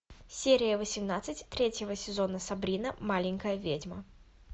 серия восемнадцать третьего сезона сабрина маленькая ведьма